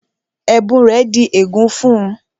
Ẹ̀bùn rẹ̀ di ègún fún-un